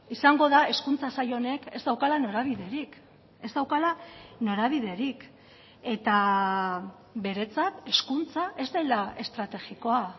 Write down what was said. izango da hezkuntza sail honek ez daukala norabiderik ez daukala norabiderik eta beretzat hezkuntza ez dela estrategikoa